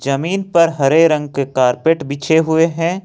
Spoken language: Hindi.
जमीन पर हरे रंग के कारपेट पीछे हुए हैं।